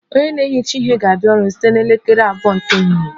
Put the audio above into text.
Onye na-ehicha ihe ga-abịa ọrụ site na elekere abụọ nke ehihie